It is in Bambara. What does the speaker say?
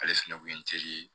Ale fɛnɛ kun ye n ye